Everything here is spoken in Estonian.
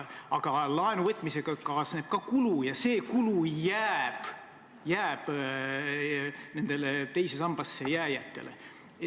Aga laenu võtmisega kaasneb ka kulu ja see kulu jääb teise sambasse jääjate kanda.